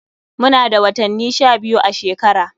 Muna da watanni sha biyu a shekara.